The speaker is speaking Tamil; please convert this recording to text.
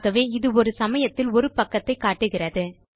ஆகவே இது ஒரு சமயத்தில் ஒரு பக்கத்தை காட்டுகிறது